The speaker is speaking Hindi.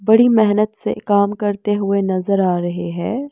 बड़ी मेहनत से काम करते हुए नजर आ रहे हैं।